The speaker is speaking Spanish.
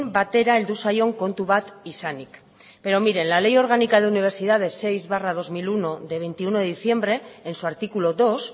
batera heldu zaion kontu bat izanik pero mire la ley orgánica de universidades seis barra dos mil uno de veintiuno de diciembre en su artículo dos